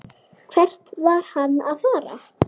Hvert var hann að fara?